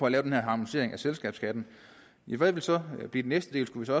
at lave den her harmonisering af selskabsskatten hvad ville så blive det næste skulle